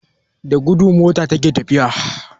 Da gudu mota ata fita jiya.